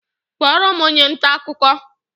Kpọọrọ m onye nta akụkọ!